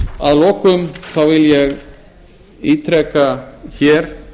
að lokum vil ég ítreka hér